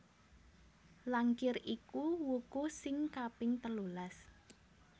Langkir iku wuku sing kaping telulas